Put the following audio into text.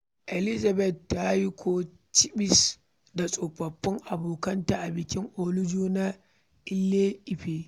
Elizabeth ta yi kicibis da tsofaffin abokanta a bikin Olojo na Ile-Ife.